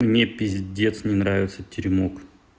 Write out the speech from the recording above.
мне пиздец не нравятся теремок